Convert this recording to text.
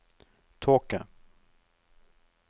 tåke